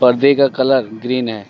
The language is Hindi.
खंभे का कलर ग्रीन है।